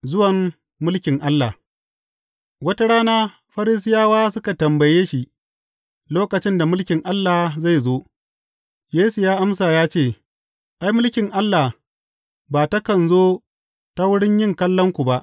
Zuwan mulkin Allah Wata rana, Farisiyawa suka tambaye shi lokacin da mulkin Allah zai zo, Yesu ya amsa ya ce, Ai, mulkin Allah ba takan zo ta wurin yin kallon ku ba.